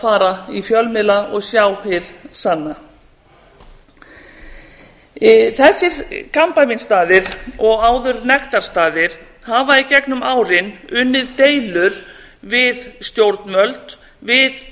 fara í fjölmiðla og sjá hið sanna þessir kampavínsstaðir og áður nektarstaða hafa í gegnum árin unnið deilur við stjórnvöld við